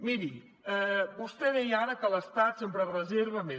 miri vostè deia ara que l’estat sempre es reserva més